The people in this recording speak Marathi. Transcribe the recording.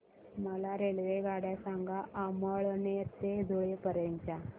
मला रेल्वेगाड्या सांगा अमळनेर ते धुळे पर्यंतच्या